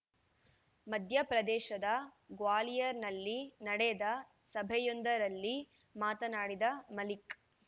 ಮಧ್ಯಪ್ರದೇಶದ ಗ್ವಾಲಿಯರ್‌ನಲ್ಲಿ ನಡೆದ ಸಭೆಯೊಂದರಲ್ಲಿ ಮಾತನಾಡಿದ ಮಲಿಕ್‌